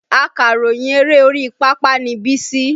Akàròyìn eré orí pápá ni Bísí